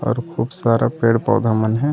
और खूब सारा पेड़ पौधा मनहे--